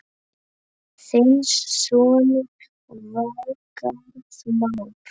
Þinn sonur, Valgarð Már.